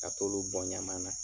Ka t'olu bɔn ɲama na.